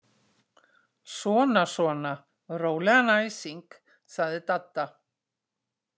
Svona svona, rólegan æsing sagði Dadda.